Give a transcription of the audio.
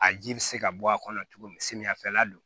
A ji bɛ se ka bɔ a kɔnɔ cogo min samiyafɛla don